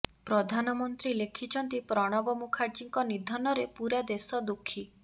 ପ୍ରଧାନମନ୍ତ୍ରୀ ଲେଖିଛନ୍ତି ପ୍ରଣବ ମୁଖାର୍ଜୀଙ୍କ ନିଧନରେ ପୂରା ଦେଶ ଦୁଃଖି